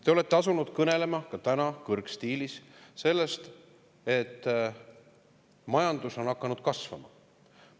Te olete asunud kõnelema – ka täna kõrgstiilis – sellest, et majandus on hakanud kasvama.